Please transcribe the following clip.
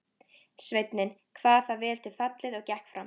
Sveinninn kvað það vel til fallið og gekk fram.